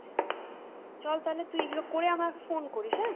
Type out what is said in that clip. চল তাহলে তুই এইগুলো করে আমাকে phone করিস হ্যাঁ?